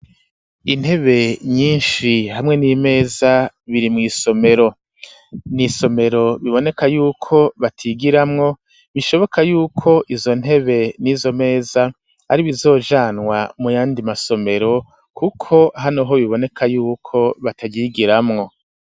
Intebe nyinshi hamwe n'imeza, biri mw'isomero; ni isomero biboneka y'uko batigiramwo, bishoboka y'uko izo ntebe n'izo meza ari ibizojanwa mu yandi masomero, kuko hano ho biboneka y'uko bataryigiramwo.